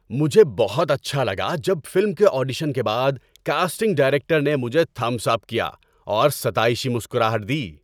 مجھے بہت اچھا لگا جب فلم کے آڈیشن کے بعد کاسٹنگ ڈائریکٹر نے مجھے تھمبس اپ کیا اور ستائشی مسکراہٹ دی۔